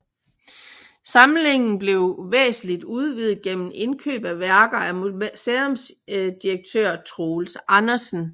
Samlingen blev væsentligt udvidet gennem indkøb af værker af museumsdirektør Troels Andersen